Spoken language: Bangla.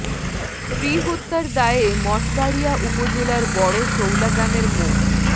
স্ত্রী হত্যার দায়ে মঠবাড়িয়া উপজেলার বড় শৌলা গ্রামের মো